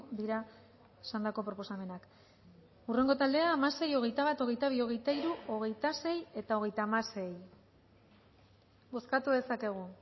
dira esandako proposamenak hurrengo taldea hamasei hogeita bat hogeita bi hogeita hiru hogeita sei eta hogeita hamasei bozkatu dezakegu